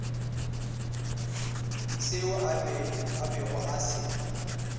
seo a bego a se